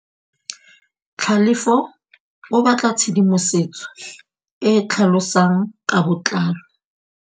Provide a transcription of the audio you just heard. Tlhalefô o batla tshedimosetsô e e tlhalosang ka botlalô.